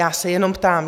Já se jenom ptám.